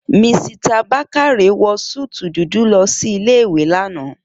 Misita Bákáre wọ súútù dúdú lọ sí ilé ìwé l'ana